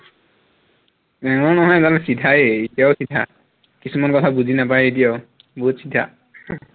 টেঙৰ নহয় এইডাল চিধায়ে এতিয়াও চিধা, কিছুমান কথা বুজি নাপায় এতিয়াও বহুত চিধা